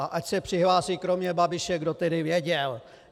A ať se přihlásí kromě Babiše, kdo tedy věděl.